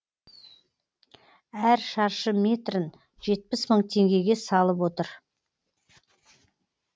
әр шаршы метрін жетпіс мың теңгеге салып отыр